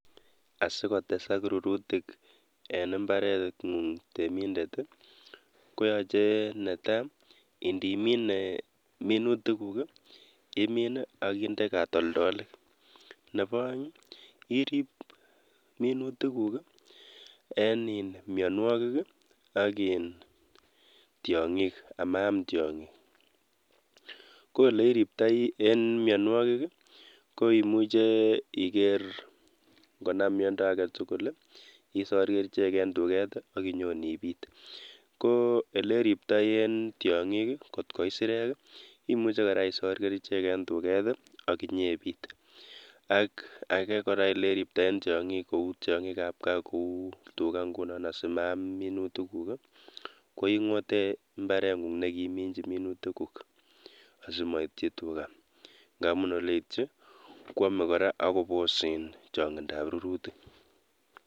Asikotesak rurutik en imbareng'ung temindet koyoche netaa indimine minutikuk imin ak indee katoldolik, nebo oeng irib minutikuk en mionwokik ak iin tiongik amaam tiong'ik, ko oleiriptoi en mionwokik ko imuche iker ng'onam miondo aketukul isor kerichek en tuket ak inyon ibiit, ko eleriptoi en tiong'ik kot ko isirek imuche kora isor kerichek en tuket ak inyebit ak akee kora eleriptoi en tiong'ikab kaa kouu tukaa ng'unon asimaam minutikuk ko ing'ote imbareng'ung nekiiminchi minutikuk asimoityi tukaa, ngamun yeityi kwome kora ak kobos chong'indab rurutik.